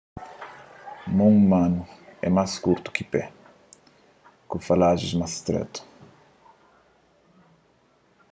mon umanu é más kurtu di ki pé ku falajis más stretu